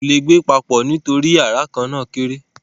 wọn kò le gbé papọ̀ nítorí yàrá kan náà kéré.